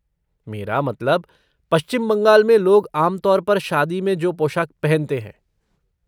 मेरा मतलब पश्चिम बंगाल में लोग आम तौर पर शादी में जो पोशाक पहनते हैं।